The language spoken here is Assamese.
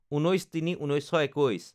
১৯/০৩/১৯২১